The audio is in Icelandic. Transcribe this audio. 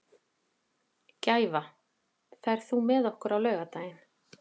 Gæfa, ferð þú með okkur á laugardaginn?